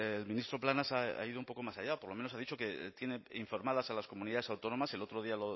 el ministro plana ha ido un poco más allá por lo menos ha dicho que tiene informadas a las comunidades autónomas el otro día